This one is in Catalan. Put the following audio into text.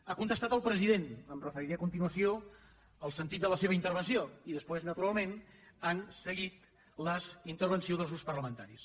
ha contestat el president em referiré a continuació al sentit de la seva intervenció i després naturalment han seguit les intervencions dels grups parlamentaris